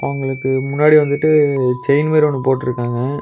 இவுங்களுக்கு முன்னாடி வந்துட்டு செயின் மாரி ஒன்னு போட்ருக்காங்க.